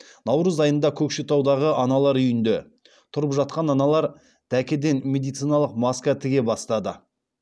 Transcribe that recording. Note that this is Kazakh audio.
наурыз айында көкшетаудағы аналар үйінде тұрып жатқан аналар дәкеден медициналық маска тіге бастады